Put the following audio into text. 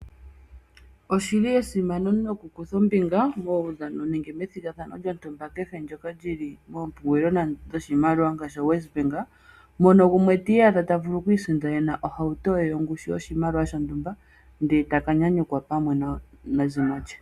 Oshi li esimano nokukutha ombinga muudhano nenge methigathano lyontumba kehe ndyoka lyili moompungulilo dhoshimaliwa ngaashi WesBank mono gumwe ta vulu okwiisindanena ohauto ye yongushu yoshimaliwa shontumba ndele eta ka nyanyukwa pamwe nezimo lye.